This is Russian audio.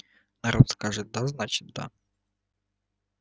народ скажет да значит да